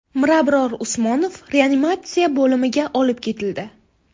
Mirabror Usmonov reanimatsiya bo‘limiga olib ketildi.